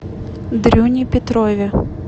дрюне петрове